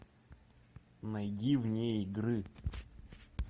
найди вне игры